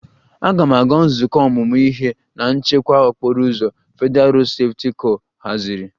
"Aga m aga nzukọ ọmụmụ ihe na ""nchekwa okporo ụzọ"" Federalụ Rodu Sefuti kor haziri"